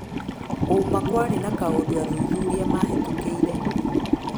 ũma kwarĩ na kaũndũ athuthuria Mahetũkĩire.